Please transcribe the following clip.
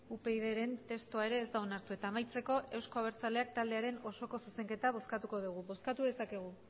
upydren testua ere ez da onartu eta amaitzeko euzko abertzaleak taldearen osoko zuzenketa bozkatuko dugu bozkatu dezakegu